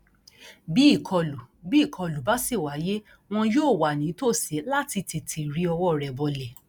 bí ìkọlù bí ìkọlù bá sì wáyé wọn yóò wà nítòsí láti tètè ri ọwọ rẹ bọlẹ